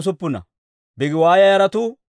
Gibbaara yaratuu 95.